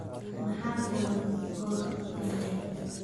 Maxaa furan goor dambe?